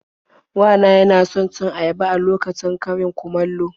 Wa na yana son cin ayaba a lokacin karin-kumallo.